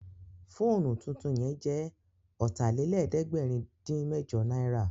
Fóònù tuntun yẹn jẹ́ Ọ̀tàlélẹ̀ẹ́dẹ́gbẹ̀rin-dín-mẹ́jọ náírà